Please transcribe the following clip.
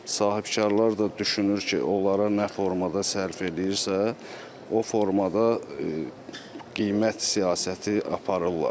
Sahibkarlar da düşünür ki, onlara nə formada sərf eləyirsə, o formada qiymət siyasəti aparırlar.